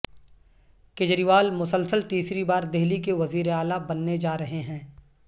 کیجریوال مسلسل تیسری بار دہلی کے وزیر اعلی بننے جارہے ہیں